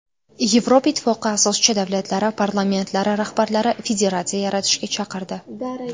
Yevropa Ittifoqi asoschi davlatlari parlamentlari rahbarlari federatsiya yaratishga chaqirdi.